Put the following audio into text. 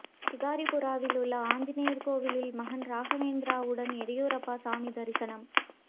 ஷிகாரிபுராவிலுள்ள ஆஞ்சநேயர் கோயிலில் மகன் ராகவேந்திராவுடன் எடியூரப்பா சாமி தரிசனம்